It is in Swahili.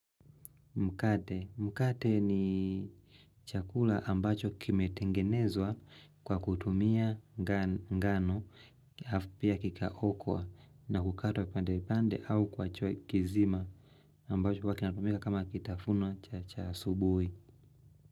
Mkate ni chakula ambacho kimetengenezwa kwa kutumia ngano alafu pia kikaokwa na kukatwa pandepande au kwa choi kizima ambacho huwa kinatumika kama kitafuno cha asubui.